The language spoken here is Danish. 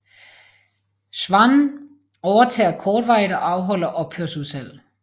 Schwann overtager kortvarigt og afholder ophørsudsalg